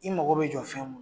I mago be jɔ fɛn mun